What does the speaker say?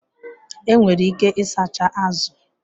Enwere ike ịsacha azụ